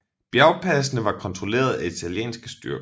Bjergpasene var kontrollet af italienske styrker